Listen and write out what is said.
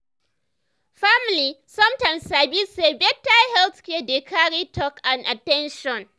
family sometimes sabi say better health care dey carry talk and at ten tion.